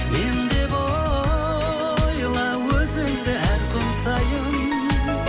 мен деп ойла өзіңді әр күн сайын